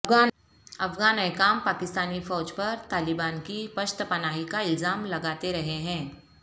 افغان حکام پاکستانی فوج پر طالبان کی پشت پناہی کا الزام لگاتے رہے ہیں